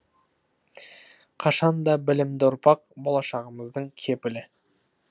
қашан да білімді ұрпақ болашағымыздың кепілі